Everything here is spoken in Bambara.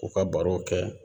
K'u ka baro kɛ